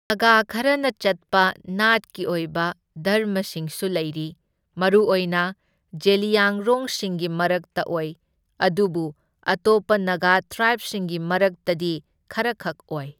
ꯅꯥꯒꯥ ꯈꯔꯅ ꯆꯠꯄ ꯅꯥꯠꯀꯤ ꯑꯣꯏꯕ ꯙꯔꯃꯁꯤꯡꯁꯨ ꯂꯩꯔꯤ, ꯃꯔꯨꯑꯣꯏꯅ ꯖꯦꯂꯤꯌꯥꯡꯔꯣꯡꯁꯤꯡꯒꯤ ꯃꯔꯛꯇ ꯑꯣꯏ ꯑꯗꯨꯕꯨ ꯑꯇꯣꯞꯄ ꯅꯥꯒꯥ ꯇ꯭ꯔꯥꯏꯕꯁꯤꯡꯒꯤ ꯃꯔꯛꯇꯗꯤ ꯈꯔꯈꯛ ꯑꯣꯏ꯫